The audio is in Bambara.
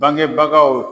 Bangebagaw